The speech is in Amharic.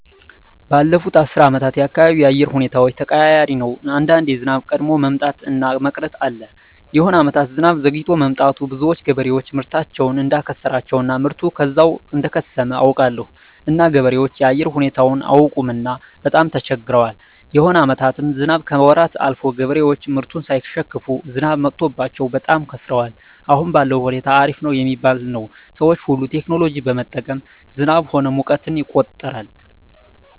ባለፋት አስር አመታት የአካባቢው የአየር ሁኔታዎች ተቀያሪ ነው አንዳንዴ ዝናብ ቀድሞ መምጣት እና መቅረት አለ የሆነ አመታት ዝናብ ዘግይቶ መጥቱ ብዙዎች ገበሬዎች ምርታቸውን እዳከሰራቸው እና ምርቱ ከዛው እደከሰመ አውቃለሁ እና ገበሬዎች የአየር ሁኔታው አያውቅምና በጣም ተቸግረዋል የሆነ አመታትም ዝናብ ከወራት አልፎ ገበሬዎች ምርቱን ሳይሸክፋ ዝናብ መትቶባቸው በጣም ከስረዋል አሁን ባለዉ ሁኔታ አሪፍ ነው ሚባል ነው ሰዎች ሁሉ ቴክኖሎጂ በመጠቀም ዝናብ ሆነ ሙቀትን ይቆጠራል